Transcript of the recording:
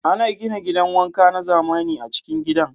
Ana gina gidan wanka na zamani a'cikin gidan.